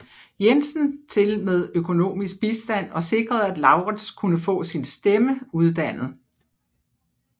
Jensen til med økonomisk bistand og sikrede at Laurttz kunne få sin stemme uddannet